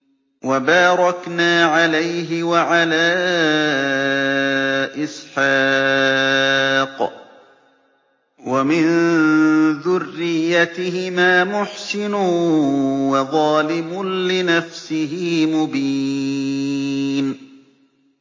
وَبَارَكْنَا عَلَيْهِ وَعَلَىٰ إِسْحَاقَ ۚ وَمِن ذُرِّيَّتِهِمَا مُحْسِنٌ وَظَالِمٌ لِّنَفْسِهِ مُبِينٌ